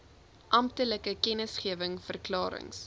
amptelike kennisgewings verklarings